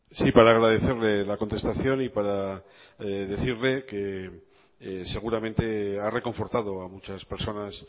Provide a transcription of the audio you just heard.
sí para agradecerle la contestación y para decirle que seguramente ha reconfortado a muchas personas